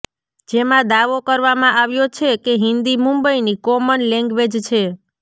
જેમાં દાવો કરવામાં આવ્યો છે કે હિંદી મુંબઈની કોમન લેંગ્વેજ છે